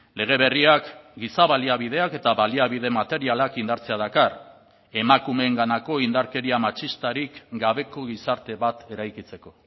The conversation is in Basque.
lege berriak giza baliabideak eta baliabide materialak indartzea dakar emakumeenganako indarkeria matxistarik gabeko gizarte bat eraikitzeko